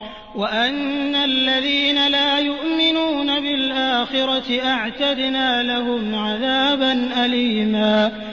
وَأَنَّ الَّذِينَ لَا يُؤْمِنُونَ بِالْآخِرَةِ أَعْتَدْنَا لَهُمْ عَذَابًا أَلِيمًا